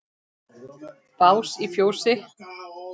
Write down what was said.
Bás í fjósi?